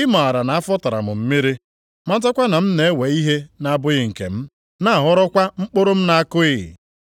I maara na afọ tara m mmiri, matakwa na m na-ewe ihe na-abụghị nke m, na-aghọrọkwa mkpụrụ m na-akụghị?